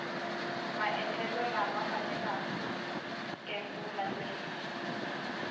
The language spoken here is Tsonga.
maendlelo lama faneleke ku landzeleriwa